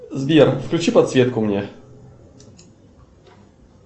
сбер включи подсветку мне